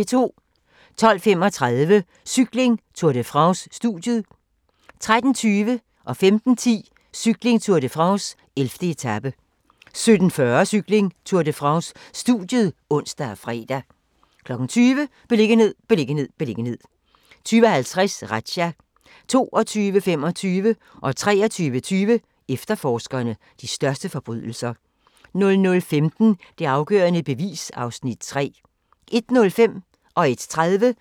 12:35: Cykling: Tour de France - studiet 13:20: Cykling: Tour de France - 11. etape 15:10: Cykling: Tour de France - 11. etape 17:40: Cykling: Tour de France - studiet (ons og fre) 20:00: Beliggenhed, beliggenhed, beliggenhed 20:50: Razzia 22:25: Efterforskerne - de største forbrydelser 23:20: Efterforskerne - de største forbrydelser 00:15: Det afgørende bevis (Afs. 3) 01:05: Grænsepatruljen